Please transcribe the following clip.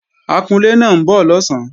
Akunlé náà ń bọ̀ lọ̀sán